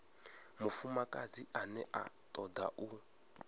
mufumakadzi ane a toda u